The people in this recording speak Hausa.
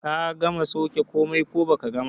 Ka gama sauke komai ko baka gama ba?